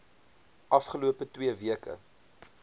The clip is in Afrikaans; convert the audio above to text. afgelope twee weke